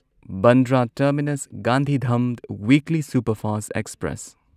Bandra terminus Gandhidham weekly superfast express